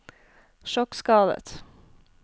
sjokkskadet